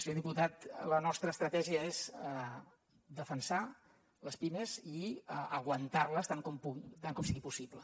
senyor diputat la nostra estratègia és defensar les pimes i aguantar les tant com sigui possible